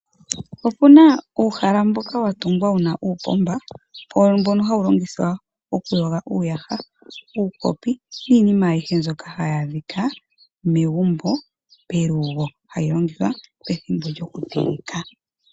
Opuna uuhala mboka watungwa wuna uupomba mbono hawu longithwa okuyoga uuyaha, uukopi niinima ayihe mbyoka hayi adhika megumbo pelugo, hayi longithwa pethimbo lyokuteleka.